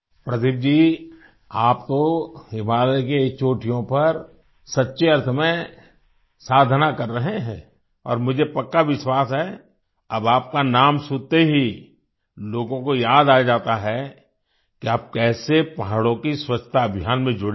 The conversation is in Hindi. प्रदीप जी आप तो हिमालय की चोटियों पर सच्चे अर्थ में साधना कर रहे हैं और मुझे पक्का विश्वास है अब आपका नाम सुनते ही लोगों को याद आ जाता है कि आप कैसे पहाड़ों की स्वच्छता अभियान में जुड़े हैं